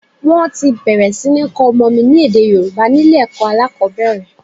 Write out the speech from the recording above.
Wọ́n ti bẹ̀rẹ̀ sí ní kọ́ ọmọ mi ní èdè Yorùbá ni ilé ẹ̀kọ́ alákòbẹ̀rẹ̀.